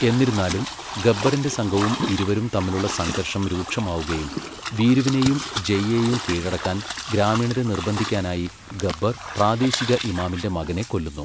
എന്നിരുന്നാലും, ഗബ്ബറിന്റെ സംഘവും ഇരുവരും തമ്മിലുള്ള സംഘർഷം രൂക്ഷമാവുകയും വീരുവിനെയും ജയ്യെയും കീഴടക്കാൻ ഗ്രാമീണരെ നിർബന്ധിക്കാനായി ഗബ്ബർ പ്രാദേശിക ഇമാമിന്റെ മകനെ കൊല്ലുന്നു.